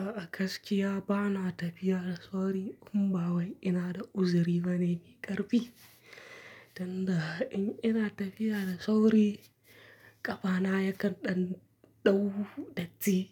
A'a, gaskiya ba na tafiya da sauri in ba wai ina da uzuri bane mai ƙarfi. Tunda in ina tafiya da sauri, ƙafana ya ka ɗan ɗau datti